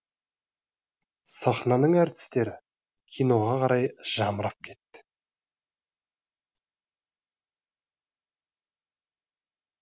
сахнаның әртістері киноға қарай жамырап кетті